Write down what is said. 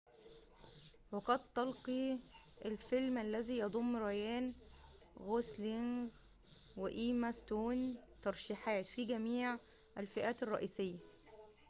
وقد تلقى الفيلم الذي يضم رايان غوسلينغ وإيما ستون ترشيحات في جميع الفئات الرئيسية